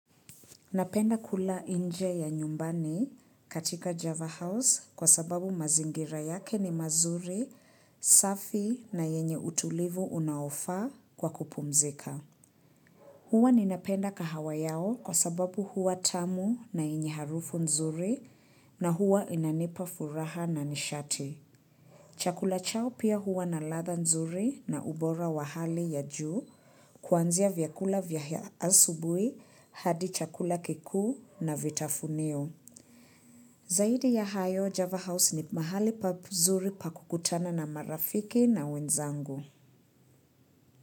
Napenda kula inje ya nyumbani katika Java House kwa sababu mazingira yake ni mazuri, safi na yenye utulivu unaofaa kwa kupumzika. Huwa ninapenda kahawa yao kwa sababu huwa tamu na yenye harufu nzuri na huwa inanipa furaha na nishati. Chakula chao pia huwa na latha nzuri na ubora wa hali ya juu, kuanzia vyakula vyahia asubuhi hadi chakula kiku na vitafunio. Zaidi ya hayo Java House ni mahali pa zuri pakukutana na marafiki na wenzangu.